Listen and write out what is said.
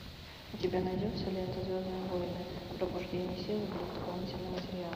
у тебя найдется лента звездные войны пробуждение силы плюс дополнительный материал